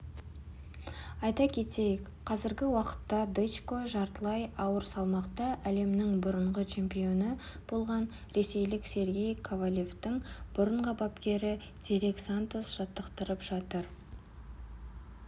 айта кетейік қазіргі уақытта дычко жартылай ауыр салмақта әлемнің бұрынғы чемпионы болған ресейлік сергей ковалевтің бұрынғы бапкері дерек сантос жаттықтырып жатыр